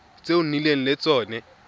tse o nnileng le tsone